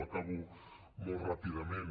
acabo molt ràpidament